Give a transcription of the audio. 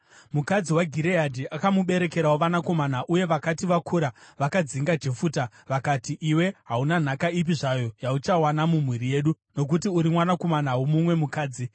Mukadzi waGireadhi akamuberekerawo vanakomana, uye vakati vakura, vakadzinga Jefuta. Vakati, “Iwe hauna nhaka ipi zvayo yauchawana mumhuri yedu, nokuti uri mwanakomana womumwe mukadzi.”